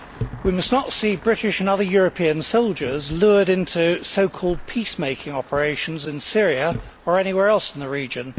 We must not see British and other European soldiers lured into so called peacemaking operations in Syria or anywhere else in the region.